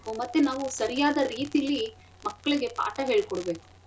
ಮತ್ತೆ ನಾವು ಸರಿಯಾದ ರೀತಿಲಿ ಮಕ್ಳಿಗೆ ಪಾಠ ಹೇಳ್ಕೊಡ್ಬೇಕು.